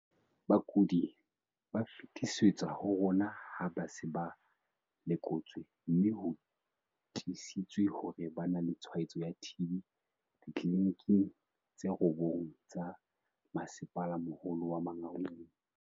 "Bakudi ba fetisetswa ho rona ha ba se ba lekotswe mme ho tiisitswe hore ba na le tshwaetso ya TB ditleliniking tse robong tsa Masepalamoholo wa Mangaung".